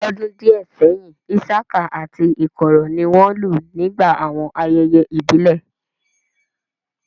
L'ọ́dún díẹ̀ sẹ́yìn, isaka àti ikoro ni wọ́n lù nígbà àwọn ayẹyẹ ìbílẹ̀